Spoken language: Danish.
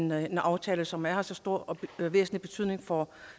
med en aftale som er af så stor og væsentlig betydning for